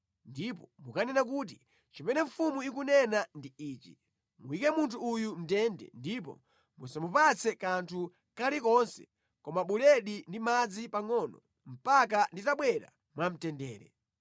ndipo mukanene kuti, ‘Chimene mfumu ikunena ndi ichi; Muyike munthu uyu mʼndende ndipo musamupatse kanthu kalikonse koma buledi ndi madzi pangʼono mpaka nditabwera mwamtendere.’ ”